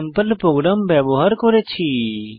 sample programme ব্যবহার করেছি